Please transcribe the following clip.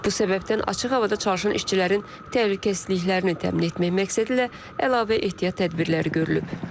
Bu səbəbdən açıq havada çalışan işçilərin təhlükəsizliklərini təmin etmək məqsədilə əlavə ehtiyat tədbirləri görülüb.